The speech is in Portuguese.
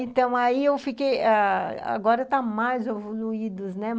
Então, aí eu fiquei ãh... Agora está mais evoluído, né?